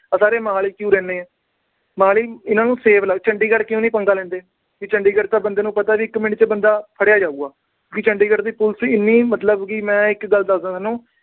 ਆ ਸਾਰੇ ਮੋਹਾਲੀ ਕਿਉਂ ਰਹਿੰਦੇ ਆ। ਮੋਹਾਲੀ ਇੰਨਾ ਨੂੰ safe ਚੰਡੀਗੜ੍ਹ ਕਿਉਂ ਨੀ ਪੰਗਾ ਲੈਂਦੇ। ਵੀ ਚੰਡੀਗੜ੍ਹ ਤਾਂ ਪਤਾ ਇੱਕ ਮਿੰਟ ਚ ਬੰਦਾ ਫੜਿਆ ਜਾਉਗਾ। ਵੀ ਚੰਡੀਗੜ੍ਹ ਦੀ police ਇੰਨੀ ਮੈਂ ਮਤਲਬ ਇੱਕ ਗੱਲ ਦੱਸ ਦਾ ਤੁਹਾਨੂੰ।